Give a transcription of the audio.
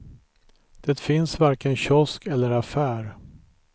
Det finns varken kiosk eller affär.